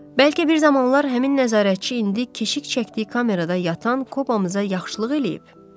Bəlkə bir zamanlar həmin nəzarətçi indi keşik çəkdiyi kamerada yatan Kobamıza yaxşılıq eləyib?